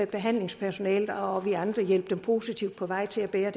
behandlingspersonalet og vi andre hjælpe dem positivt på vej til at bære